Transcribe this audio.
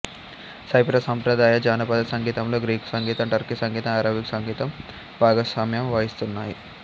cypress సంప్రదాయ జానపద సంగీతంలో గ్రీకు సంగీతం టర్కీ సంగీతం అరబిక్ సంగీతం భాగస్వామ్యం వహిస్తున్నాయి